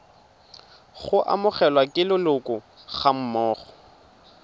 go amogelwa ke leloko gammogo